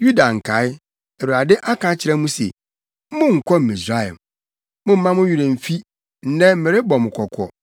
“Yuda nkae, Awurade aka akyerɛ mo se, ‘Monnkɔ Misraim.’ Mommma mo werɛ mmfi, nnɛ merebɔ mo kɔkɔ